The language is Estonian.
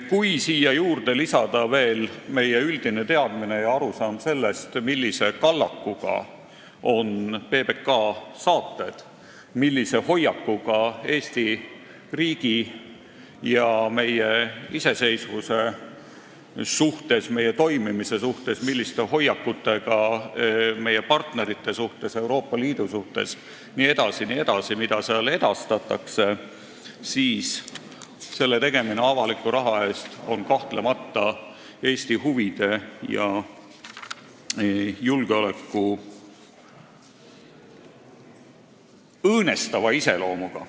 Kui siia juurde lisada veel meie üldine teadmine ja arusaam sellest, millise kallaku ja hoiakuga on PBK-s edastatavad saated Eesti riigi ja meie iseseisvuse suhtes, meie toimimise suhtes, meie partnerite suhtes, Euroopa Liidu suhtes jne, siis on nende tegemine avaliku raha eest kahtlemata Eesti huvisid ja julgeolekut õõnestava iseloomuga.